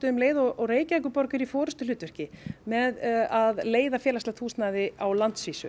um leið og Reykjavíkurborg er í forystuhlutverki með að leiða félagslegt húsnæði á landsvísu